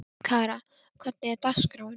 Kara, hvernig er dagskráin?